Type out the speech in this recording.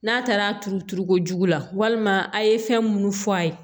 N'a taara turu turu kojugu la walima a ye fɛn munnu fɔ a ye